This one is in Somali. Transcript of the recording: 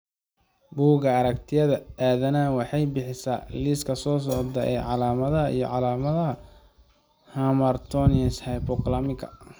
Bugga Aragtiyaha Aanadanaha waxay bixisaa liiska soo socda ee calaamadaha iyo calaamadaha hamartomas Hypothalamika .